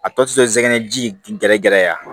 A tɔ tɛ se zɛnɛ ji gɛrɛgɛrɛ ye a